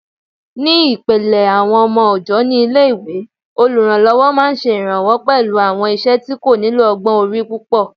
Ní ìpìlẹ̀ àwọn ọmọ ọ̀jọ́ ní ilé-ìwé, olùrànlọ́wọ́ máa ṣe ìrànwọ́ pẹ̀lú àwọn iṣẹ́ tí kò nílò ọgbọ́n orí púpọ̀